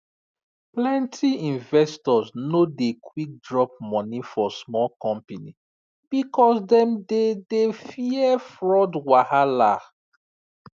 plenty investors no dey quick drop money for small company because dem dey dey fear fraud wahala